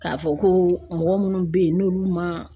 K'a fɔ ko mɔgɔ munnu be yen n'olu ma